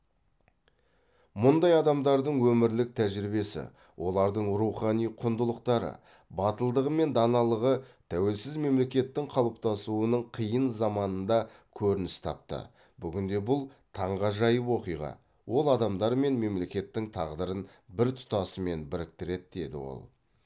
мұндай адамдардың өмірлік тәжірибесі олардың рухани құндылықтары батылдығы мен даналығы тәуелсіз мемлекеттің қалыптасуының қиын заманында көрініс тапты бүгінде бұл таңғажайып оқиға ол адамдар мен мемлекеттің тағдырын бір тұтасымен біріктіреді деді ол